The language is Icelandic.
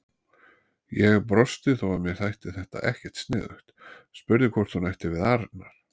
Ég brosti þó að mér þætti þetta ekkert sniðugt, spurði hvort hún ætti við Arnar.